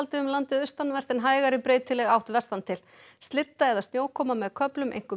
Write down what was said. um landið austanvert en hægari breytileg átt vestan til slydda eða snjókoma með köflum einkum